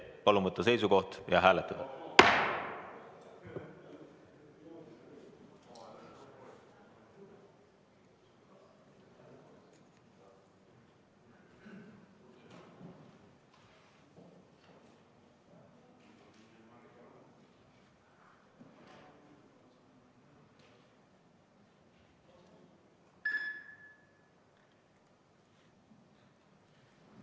Palun võtta seisukoht ja hääletada!